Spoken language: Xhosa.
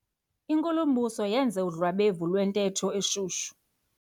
Inkulumbuso yenze udlwabevu lwentetho eshushu.